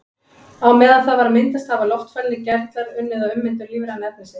Á meðan það var að myndast hafa loftfælnir gerlar unnið að ummyndun lífræna efnisins.